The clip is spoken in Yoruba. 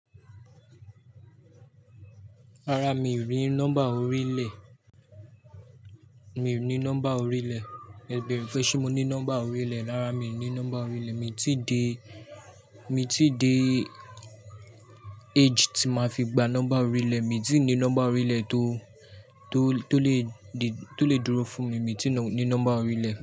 Rárá, mi ò rí nọ́mbà orílẹ̀. Mi ò ní nọ́mbà orílẹ̀. Ibeere pe ṣé mo ní nọ́mbà orílẹ̀. Rárá, mi ò ní nọ́mbà orílẹ̀. Mi ò tí dé, mi ò tí dé age tí máa fi gba nọ́mbà orílẹ̀. Mi ò tí ní nọ́mbà orílẹ̀ tó, tó, tó lè di, tó lè dúró fún mi. Mi ò tí ní nọ́mbà orílẹ̀